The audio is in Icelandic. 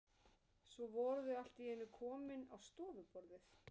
Svo voru þau allt í einu komin á stofuborðið.